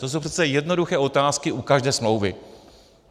To jsou přece jednoduché otázky u každé smlouvy.